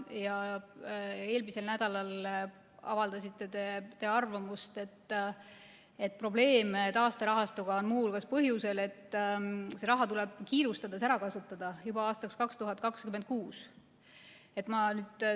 Eelmisel nädalal avaldasite te arvamust, et probleeme taasterahastuga on muu hulgas põhjusel, et see raha tuleb kiirustades ära kasutada, juba aastaks 2026.